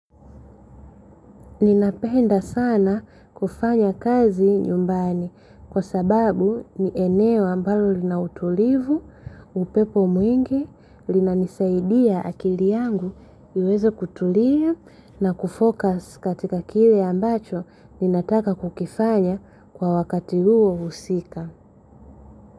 Ninapenda sana kufanya kazi nyumbani kwa sababu ni eneo ambalo lina utulivu, upepo mwingi, linanisaidia akili yangu iweze kutulia na kufokus katika kile ambacho ninataka kukifanya kwa wakati huo husika.